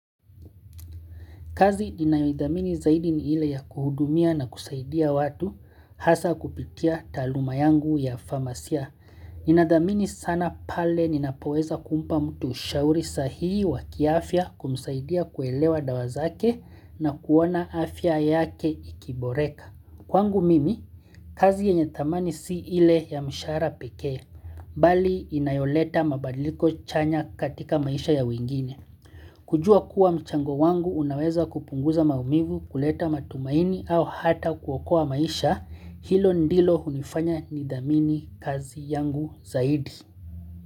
Kazi ninayoidhamini zaidi ni ile ya kuhudumia na kusaidia watu hasa kupitia taluma yangu ya farmasia. Inadhamini sana pale ninapoweza kumpa mtu ushauri sahihi wa kiafya kumsaidia kuelewa dawazake na kuona afya yake ikiboreka. Kwangu mimi, kazi yenye thamani si ile ya mshara peke, bali inayoleta mabadiliko chanya katika maisha ya wengine. Kujua kuwa mchango wangu unaweza kupunguza maumingu kuleta matumaini au hata kuokoa maisha hilo ndilo hunifanya nidhamini kazi yangu zaidi.